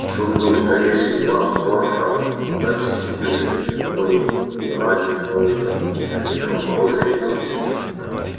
тут был старейший пласт торфа но дальше чем ближе к слепой елани слой становился все моложе и тоньше